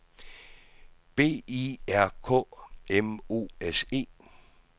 B I R K M O S E